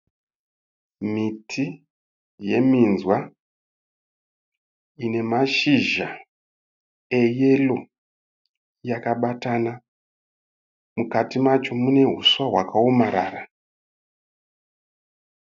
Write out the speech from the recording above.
Miti yeminzwa ine mashizha eyero yakabatana. Mukati macho mune huswa hwakaomarara.